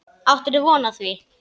Áttirðu von á því?